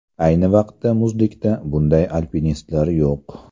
Ayni vaqtda muzlikda bunday alpinistlar yo‘q.